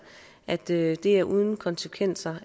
at det er uden konsekvenser